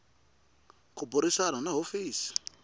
ku burisana ni va hofisi